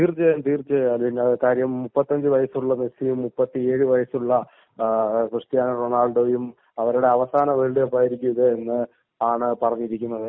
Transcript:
തീർച്ചയായും തീർച്ചയായും കാരണം മുപ്പത്തിഅഞ്ചു വയസ്സുള്ള മെസ്സിയും മുപ്പത്തി ഏഴു വയസ്സുള്ള ക്രിസ്ത്യാനോ റൊണാൾഡോയും അവരുടെ അവസാന വേൾഡ് കപ്പ് ആയിരിക്കും എന്നാണ് പറഞ്ഞിരിക്കുന്നത്